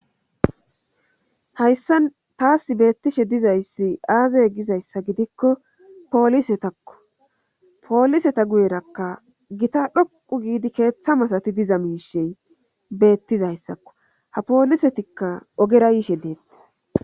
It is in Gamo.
hayssa taas beettishe dizayssi aazay gizayssa gidikko poolisetakko pooliseta guyerakka gita dhoqu giidi keeththa masati diza miishey beettizayssakko ha poolisetikka ogera yiishe deettis